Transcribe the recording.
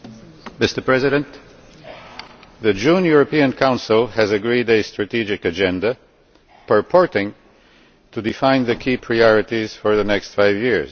Mr President, the June European Council has agreed a strategic agenda purporting to define the key priorities for the next five years.